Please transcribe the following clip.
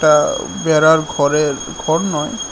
আঃ বেড়ার ঘরের ঘর নয়--